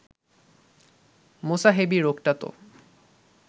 মোসাহেবি রোগটা তো